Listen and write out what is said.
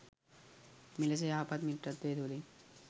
මෙලෙස යහපත් මිත්‍රත්වය තුළින්